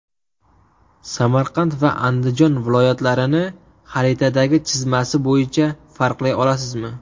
Samarqand va Andijon viloyatlarini xaritadagi chizmasi bo‘yicha farqlay olasizmi?